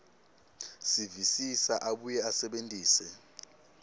visisa abuye asebentise